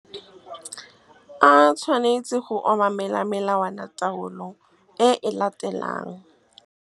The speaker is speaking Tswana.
A tshwanetse go obamela melawanataolo e e latelang. A tshwanetse go obamela melawanataolo e e latelang.